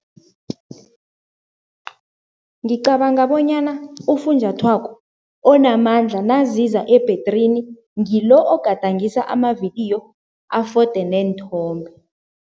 Ngicabanga bonyana ufunjathwako onamandla naziza ebhedrini, ngilo ogadangisa amavidiyo afode neenthombe.